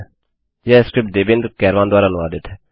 यह स्क्रिप्ट देवेन्द्र कैरवान द्वारा अनुवादित है